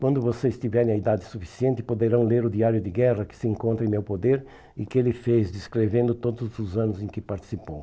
Quando vocês tiverem a idade suficiente, poderão ler o diário de guerra que se encontra em meu poder e que ele fez, descrevendo todos os anos em que participou.